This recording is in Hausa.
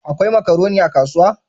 Akwai makaroni a kasuwa?